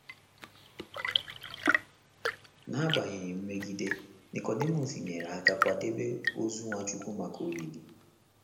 N’agbanyeghị mmegide, Nikọdimọs nyere aka kwadebe ozu Nwachukwu maka olili